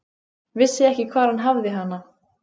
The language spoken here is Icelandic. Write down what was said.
Vissi ekki hvar hann hafði hana.